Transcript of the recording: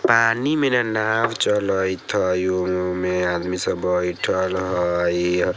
पानी में र नाव चलइत हई उमे आदमी सब बैठल हई।